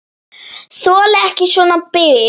Þoli ekki svona bið.